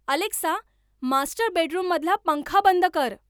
Alexa master bedroom मधला पंखा बंद कर